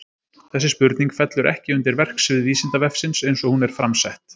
Þessi spurning fellur ekki undir verksvið Vísindavefsins eins og hún er fram sett.